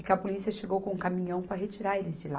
E que a polícia chegou com um caminhão para retirar eles de lá.